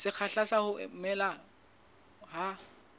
sekgahla sa ho mela ha